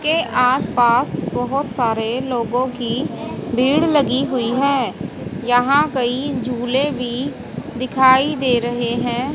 के आस पास बहोत सारे लोगों की भीड़ लगी हुई है यहां कई झूले भी दिखाई दे रहे हैं।